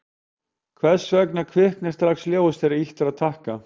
hvers vegna kviknar strax ljós þegar ýtt er á takka